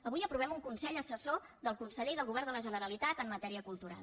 avui aprovem un consell as·sessor del conseller i del govern de la generalitat en matèria cultural